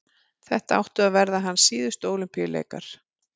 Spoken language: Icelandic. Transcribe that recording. þetta áttu að vera hans síðustu ólympíuleikar